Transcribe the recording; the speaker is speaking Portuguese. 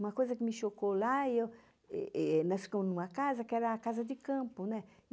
Uma coisa que me chocou lá e eu... Eh Nós ficamos em uma casa que era a casa de campo, né?